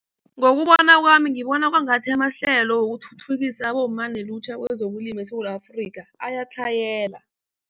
Ngokubona kwami ngibona kwangathi amahlelo wokuthuthukisa abomma nelutjha kezokulima eSewula Afrika ayatlhayela.